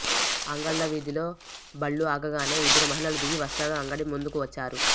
అంగళ్ళ వీధిలో బళ్ళు ఆగగానే ఇద్దరు మహిళలు దిగి వస్త్రాల అంగడి ముందుకు వచ్చారు